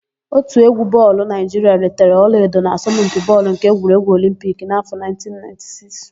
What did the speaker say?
Òtù égwú bọọlụ Naịjiria ritere ọlaedo n'asọmpi bọọlụ nke egwuregwu Olimpiki n'áfọ̀ 1996.